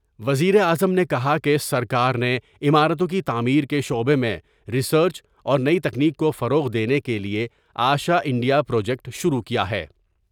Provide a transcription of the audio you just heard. وزیر اعظم نے کہا کہ سرکار نے عمارتوں کی تعمیر کے شعبے میں ریسرچ اور نئی تکنیک کوفروغ دینے کے لئے آشا انڈیا پروجیکٹ شروع کیا ہے۔